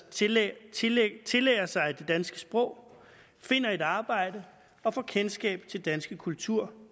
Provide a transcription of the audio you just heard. tillærer tillærer sig det danske sprog finder et arbejde og får kendskab til danske kultur